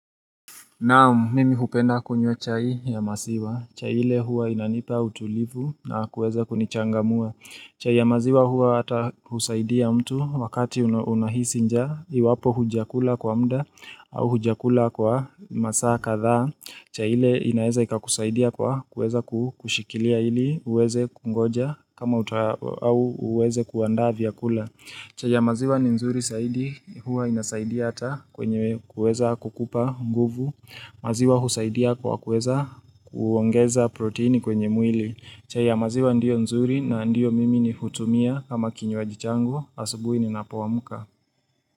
Naam, mimi hupenda kunywa chai ya masiwa. Chai ile hua inanipa utulivu na kuweza kunichangamua. Chai ya maziwa hua ata husaidia mtu wakati una unahisi njaa. Iwapo hujakula kwa mda au hujakula kwa masaa kadhaa chai ile inaeza ikakusaidia kwa kuweza ku kushikilia ili uweze kungoja kama uta uweze kuandaa vyakula. Chai ya maziwa ni nzuri saidi, huwa inasaidia hata kwenye kuweza kukupa nguvu, maziwa husaidia kwa kuweza kuongeza proteini kwenye mwili. Chai ya maziwa ndio nzuri na ndio mimi ni hutumia ama kinywaji changu, asubuhi ninapo amka.